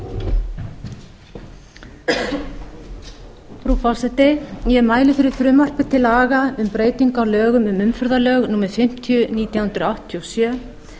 sjö meðflutningsmenn eru frú forseti ég mæli fyrir frumvarpi til laga um breytingu á lögum um umferðarlög númer fimmtíu nítján hundruð áttatíu og sjö